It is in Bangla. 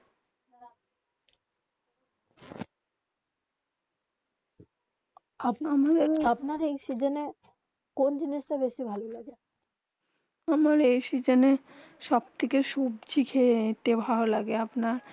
আপনার এই সিজনে কোন জিনিস তা বেশি ভালো লাগে আমার এই সিজনে সব থেকে সবজি খেয়ে ভালো লাগে আপনার